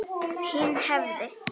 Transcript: Hinn hefði